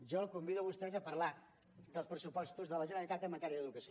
jo els convido a vostès a parlar dels pressupostos de la generalitat en matèria d’educació